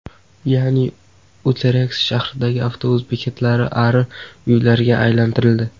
Ya’ni Utrext shahridagi avtobus bekatlari ari uylariga aylantirildi.